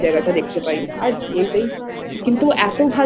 পূর্ণ হয় আরেকবার গিয়ে আমরা সেই জায়গাটা দেখতে পাই।